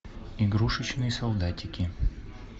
игрушечные солдатики